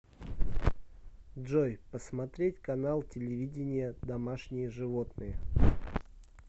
джой посмотреть канал телевидения домашние животные